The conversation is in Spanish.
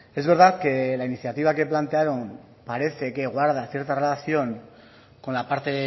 es verdad que la iniciativa que plantearon parece que guarda cierta relación con la parte